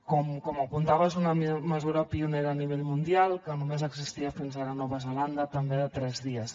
com apuntava és una mesura pionera a nivell mundial que només existia fins ara a nova zelanda també de tres dies